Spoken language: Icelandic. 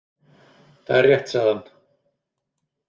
Það er rétt, sagði hann.